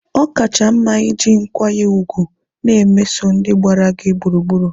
ọ kacha mma iji nkwanye ùgwù na-emeso ndị gbara gị gburugburu.